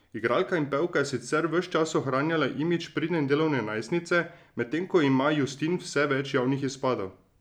Igralka in pevka je sicer ves čas ohranjala imidž pridne in delavne najstnice, medtem ko ima Justin vse več javnih izpadov.